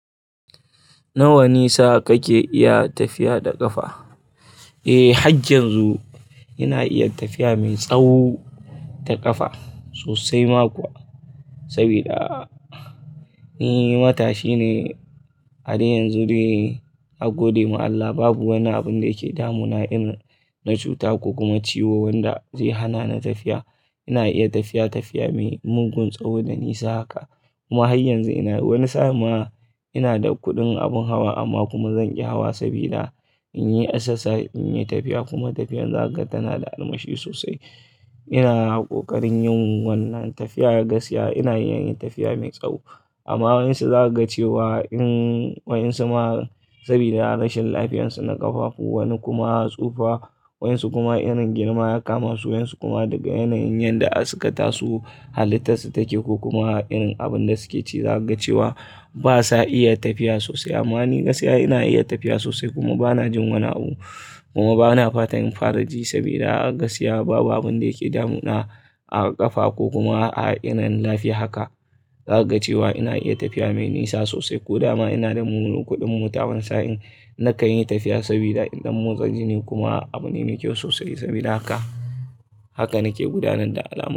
Nawa nisa kake iya tafiya da ƙafa? Eh, hajjin yanzu ina iya tafiya mai tsawo da ƙafa sosai ma kuwa. Sabida, ni matashi ne a dai yanzu dai, a gode ma Allah babu wani abin da yake damun na irin na cuta ko kuma ciwo wanda zai hana ni tafiya. Ina iya tafiya tafiya mai mugun tsawo da nisa haka. Kuma har yanzu ina, wani sa'n ma ina da kuɗin abin hawa amma kuma zan ƙi hawa sabida in yi exercise in yi tafiya kuma tafiyar zaka ga tana da armashi sosai. Ina ƙoƙarin yin wannan tafiya a gaskiya ina iya yin tafiya mai tsawo. Amma waɗansu za kaga cewa in, waɗansu ma sabida rashin lafiyarsu na ƙafafu wani kuma tsufa waɗansu kuma irin girman yakama su wayansu kuma daga yanayin yadda suka tasak halittarsu take ko kuma irin abin da suke ci zaka ga cewa basa iya tafiya sosai. Amma ni gaskiya ina iya tafiya sosai kuma bana jin wani abu kuma bana fatan in fara ji sabida a gaskiya babu abin da yake damu na, a ƙafa ko kuma a irin lafiya haka. Zaka ga cewa ina iya tafiya mai nisa sosai ko dama ina da mulu-kuɗin mota wani sa'in na kan yi tafiya sabida idan mun dan motsa jini kuma abu ne mai kyau sosai sabida haka. Haka nake gudanar da alama.